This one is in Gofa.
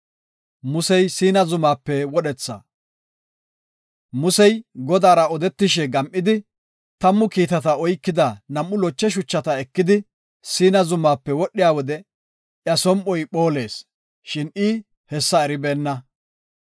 Musey Godaara odetishe gam7idi, tammu kiitata oykida nam7u loche shuchata ekidi Siina Zumaape wodhiya wode iya som7oy phoolees, shin I hessa eribeenna.